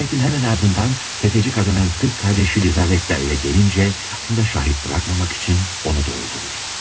Cinayətin həmin ardından təfəci qadının qız qardaşı Lizavetta evə gəlincə, əslində şahid buraxmamaq üçün onu da öldürür.